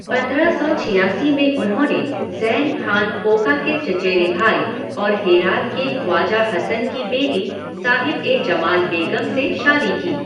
पंद्रह सौ छियासी में उन्होंने ज़ैन खान कोका के चचेरे भाई और हेरात के ख्वाजा हसन की बेटी साहिब ए जमाल बेगम से शादी की।